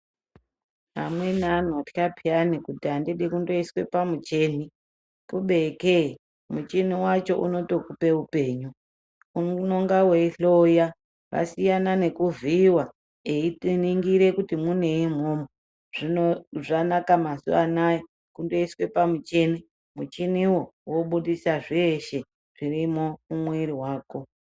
Amweni anotya peyani kuti andidi kundoiswe pamuchini kubeke muchini wacho unotokupe upenyu. Unonga weihloya wasiyana nekuvhuyiwa veitiningire kuti munei mwona umwomwo. Zvino zvakanaka mazuwanaya kundoiswe pamuchini muchiwo wobudzisa zveshe zvirimwo mumwiri mwako.